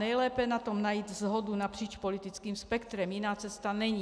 Nejlépe na tom najít shodu napříč politickým spektrem, jiná cesta není.